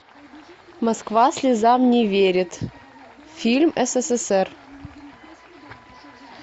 москва слезам не верит фильм ссср